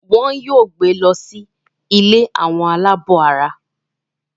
wón yóò gbé ló sì ilé wón tí gbé Ola ló sì ilé Àwọn alabó àrà.